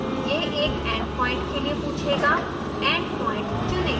यह एक end point के लिए पूछेगा end point चुनें